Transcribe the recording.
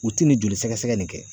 U ti nin joli sɛgɛsɛgɛ nin kɛ.